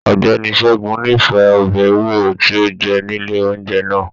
Ọgbẹni Ṣẹgun n'ifẹ ọbẹ ewúro ti o jẹ nile oúnjẹ náà.